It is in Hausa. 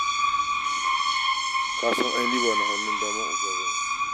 Ka san ai ni ba na hannun daman oga ba ne.